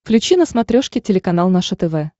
включи на смотрешке телеканал наше тв